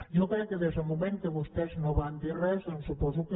jo crec que des del moment que vostès no van dir res doncs suposo que